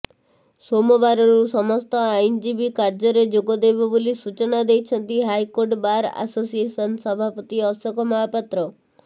ସୋମବାରରୁ ସମସ୍ତ ଆଇନଜୀବୀ କାର୍ଯ୍ୟରେ ଯୋଗଦେବେ ବୋଲି ସୂଚନା ଦେଇଛନ୍ତି ହାଇକୋର୍ଟ ବାର ଆସୋସିଏସନ୍ ସଭାପତି ଅଶୋକ ମହାପାତ୍ର